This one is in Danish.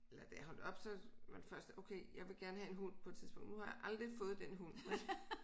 Eller da jeg holdt op så var det første okay jeg vil gerne have en hund på et tidspunkt nu har jeg aldrig fået den hund vel